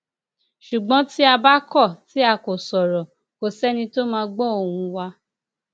ṣùgbọn tí a bá kọ tí a kò sọrọ kò sẹni tó máa gbọ ohùn wa